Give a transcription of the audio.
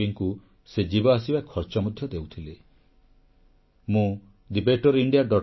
ଏପରିକି ତାଙ୍କ ପାଖକୁ ଚିକିତ୍ସା ପାଇଁ ଆସୁଥିବା ବୟୋଜ୍ୟେଷ୍ଠ ରୋଗୀଙ୍କୁ ସେ ଯିବା ଆସିବା ଖର୍ଚ୍ଚ ମଧ୍ୟ ଦେଉଥିଲେ